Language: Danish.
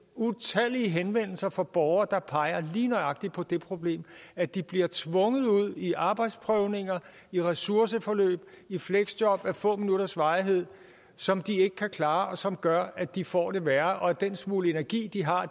utallige henvendelser fra borgere der lige nøjagtig peger på det problem at de bliver tvunget ud i arbejdsprøvninger i ressourceforløb og i fleksjob af få minutters varighed som de ikke kan klare og som gør at de får det værre og at den smule energi de har